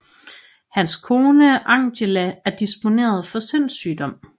Hans kone Angéla er disponeret for sindssygdom